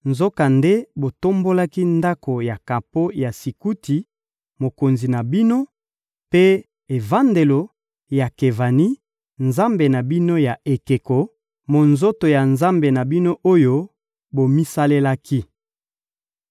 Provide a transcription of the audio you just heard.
Nzokande, botombolaki ndako ya kapo ya Sikuti, mokonzi na bino, mpe evandelo ya Kevani, nzambe na bino ya ekeko, monzoto ya nzambe na bino oyo bomisalelaki.